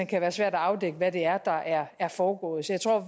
kan være svært at afdække hvad det er der er er foregået så jeg tror